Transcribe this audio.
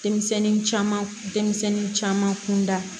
Denmisɛnnin caman denmisɛnnin caman kun da